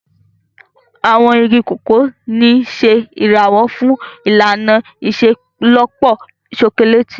Àwọn igi Cocoa ń ṣe ìrànwọ́ fún ìlànà ìṣelọ́pọ̀ ṣokoléètì.